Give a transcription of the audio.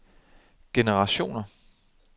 generationer